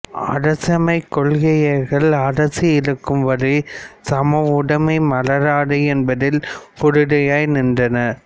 அரசின்மைக் கொள்கையாளர்கள் அரசு இருக்கும் வரை சமவுடமை மலராது என்பதில் உறுதியாய் நின்றனர்